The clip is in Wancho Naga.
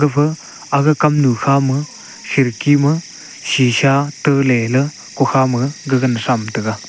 gapha aga kamnu khama khirki ma shisha talela kukha ma gagana thram taiga.